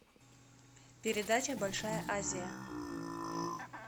передача большая азия